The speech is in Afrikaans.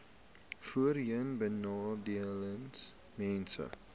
voorheenbenadeeldesmense